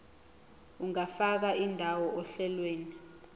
ungafaka indawo ohlelweni